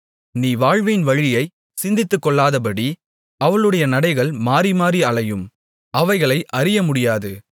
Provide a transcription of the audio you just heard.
நீ வாழ்வின் வழியைச் சிந்தித்துக்கொள்ளாதபடி அவளுடைய நடைகள் மாறிமாறி அலையும் அவைகளை அறியமுடியாது